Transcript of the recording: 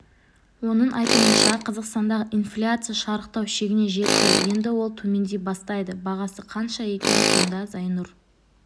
оның айтуынша қазақстандағы инфляция шарықтау шегіне жетті енді ол төмендей бастайды бағасы қанша екен сонда зайнұр